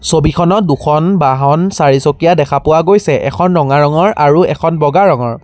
ছবিখনত দুখন বাহন চাৰিচকীয়া দেখা পোৱা গৈছে এখন ৰঙা ৰঙৰ আৰু এখন বগা ৰঙৰ।